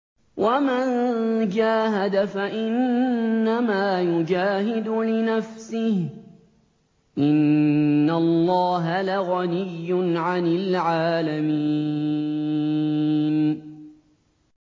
وَمَن جَاهَدَ فَإِنَّمَا يُجَاهِدُ لِنَفْسِهِ ۚ إِنَّ اللَّهَ لَغَنِيٌّ عَنِ الْعَالَمِينَ